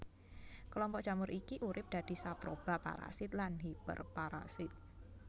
Kelompok jamur iki urip dadi saproba parasit lan hiperparasit